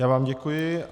Já vám děkuji.